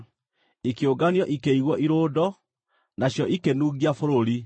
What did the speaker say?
Ikĩũnganio ikĩigwo irũndo, nacio ikĩnungia bũrũri.